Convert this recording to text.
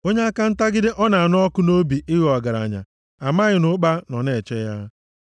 Onye aka ntagide ọ na-anụ ọkụ nʼobi ịghọ ọgaranya amaghị na ụkpa nọ na-eche ya.